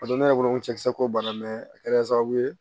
A don ne yɛrɛ bolo cɛkisɛ ko banna mɛ a kɛra sababu ye